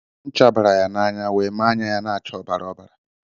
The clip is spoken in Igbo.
Ncha bara ya na-anya wee mee ányá ya n'acha ọbara ọbara.